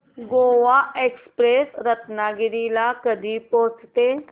Goa express Ratnagiri ला कधी पोहचते